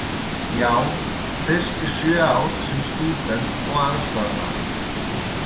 Já, fyrst í sjö ár sem stúdent og aðstoðarmaður.